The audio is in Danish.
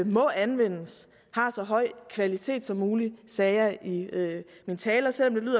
må anvendes har så høj en kvalitet som muligt det sagde jeg i min tale selv